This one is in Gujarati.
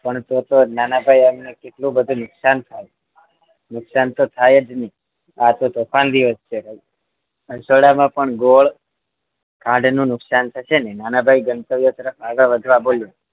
પણ તો તો નાનાભાઈ એમને કેટલું બધું નુકસાન થાય નુકસાન તો થાય જ ને આતો તોફાન દિવસ છે રસોડામાં પણ ગોળ ખાંડનું નુકસાન થશે ને નાનાભાઈ ગંતવ્ય તરફ આગળ વધવા બોલ્યા